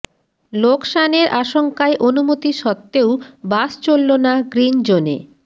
লোকসানের আশঙ্কায় অনুমতি সত্ত্বেও বাস চলল না গ্রিন জোনে